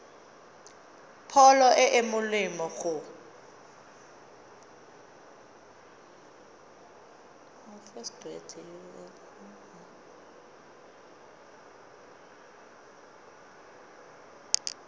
pholo e e molemo go